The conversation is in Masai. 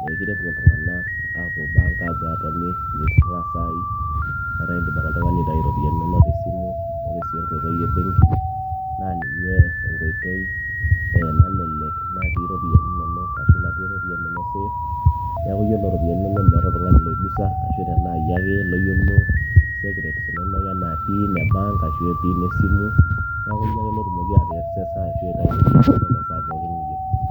meekire epuo iltung'anak aapuo bank aatoni niturraa isaai etaa indim ake oltung'ani aitai iropiyiani inonok tesimu ore sii enkoitoi e benki naa ninye enkoitoi nalelek natii iropiyiani inonok ashu natii iropiyiani inonok safe neeku yiolo iropiyiani inonok meeta oltung'ani loigusa ashu tenaa iyie ake loyiolo secrets inonok enaa pin e bank ashua pin esimu neeku yie ake lotumoki aeaksesa ashuaitayu iropiani inonok enkata pookin niyieu.